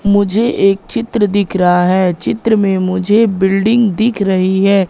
मुझे एक चित्र दिख रहा है चित्र में मुझे बिल्डिंग दिख रही है।